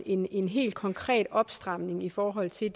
en en helt konkret opstramning i forhold til